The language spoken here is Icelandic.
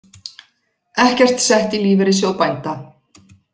Ekkert sett í Lífeyrissjóð bænda